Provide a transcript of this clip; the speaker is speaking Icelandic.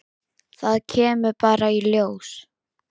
Það kemur bara í ljós.